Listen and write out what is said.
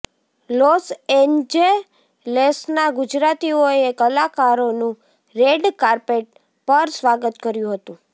loss એન્જેલેસના ગુજરાતીઓએ કલાકારોનું રેડ કાર્પેટ પર સ્વાગત કર્યું હતું